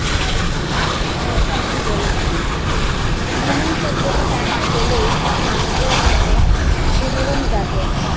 হ্যাঁ ঠিকই বলেছেন, ভ্রমণ শব্দটি কানে এলেই মানুষের মনের শিহরণ জাগে